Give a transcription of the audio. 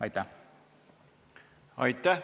Aitäh!